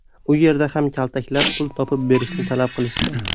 U yerda ham kaltaklab, pul topib berishini talab qilishgan.